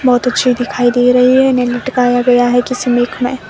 बहोत अच्छी दिखाई दे रही है नहीं लटकाया गया है किसी नेक में--